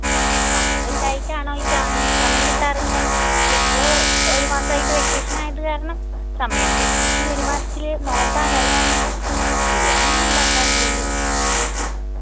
സമയം കിട്ടായിട്ടാണോ ചോയിച്ച ആണ് സമയം കിട്ടാറില്ല പക്ഷെ ഇപ്പൊ ഒരു മാസായിട്ട് vacation ആയത് കാരണം സമയിണ്ട് പക്ഷെ ഈ ഒരു മാസത്തില് നോമ്പാണ് അത് കാരണം ബിരിയാണിയൊന്നും ഇണ്ടാക്കാറില്ലലോ